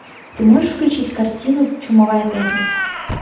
ты можешь включить картину чумовая пятница